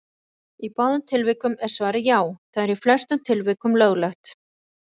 Í báðum tilvikum er svarið: Já, það er í flestum tilvikum löglegt.